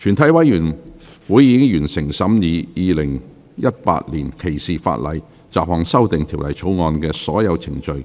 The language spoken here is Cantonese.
全體委員會已完成審議《2018年歧視法例條例草案》的所有程序。